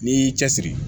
N'i y'i cɛsiri